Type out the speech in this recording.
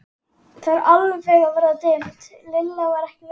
Það var alveg að verða dimmt, Lilla var ekki viss.